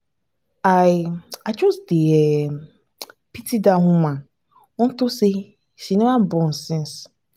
i i just dey um pity dat woman unto say she never born since